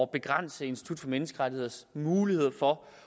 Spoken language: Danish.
begrænse institut for menneskerettigheders muligheder for